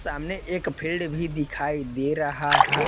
सामने एक फेड़ भी दिखाई दे रहा है।